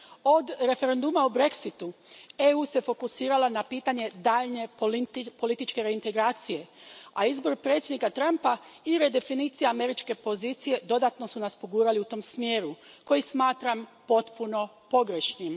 Od referenduma o Brexitu EU se fokusirao na pitanje daljnje političke reintegracije, a izbor predsjednika Trumpa i redefinicija američke pozicije dodatno su nas pogurali u tom smjeru, koji smatram potpuno pogrešnim.